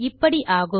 இப்படி ஆகும்